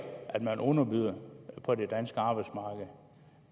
at man underbyder på det danske arbejdsmarked